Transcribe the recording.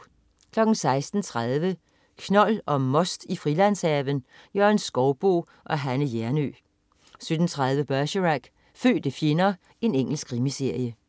16.30 Knold og most i Frilandshaven. Jørgen Skouboe og Anne Hjernøe 17.30 Bergerac: Fødte fjender. Engelsk krimiserie